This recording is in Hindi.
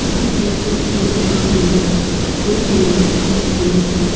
यहां पे कुछ पुरुष और महिलाएं दूध लेने आए हुए हैं।